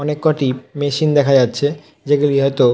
অনেককটি machine দেখা যাচ্ছে যেগুলি হয়তো।